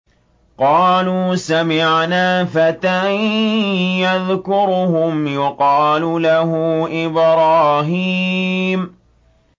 قَالُوا سَمِعْنَا فَتًى يَذْكُرُهُمْ يُقَالُ لَهُ إِبْرَاهِيمُ